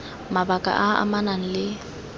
mabaka a a amanang le